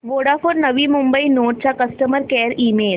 Vodafone Navi Mumbai node चा customer care email